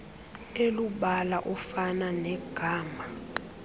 elubala ofana negama